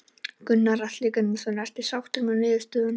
Gunnar Atli Gunnarsson: Ertu sáttur með niðurstöðuna?